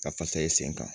Ka fasa i sen kan